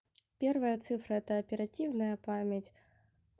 первая цифра это оперативная память